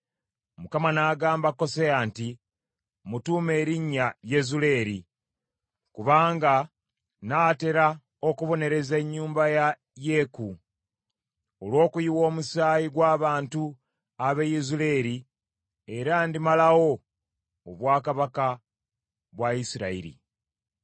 Mukama n’agamba Koseya nti, “Mmutuume erinnya Yezuleeri, kubanga nnaatera okubonereza ennyumba ya Yeeku, olw’okuyiwa omusaayi gw’abantu ab’e Yezuleeri, era ndimalawo obwakabaka bwa Isirayiri.